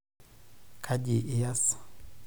Kaji iyas?